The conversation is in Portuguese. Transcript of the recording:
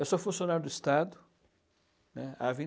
Eu sou funcionário do Estado, né, há